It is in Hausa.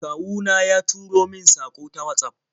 Kawu na ya turo min saƙo ta Watsaf.